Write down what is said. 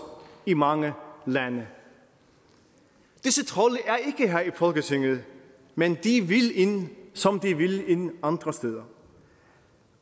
i mange lande disse trolde i folketinget men de vil ind som de vil ind andre steder